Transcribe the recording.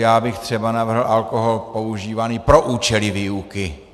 Já bych třeba navrhl alkohol používaný pro účely výuky.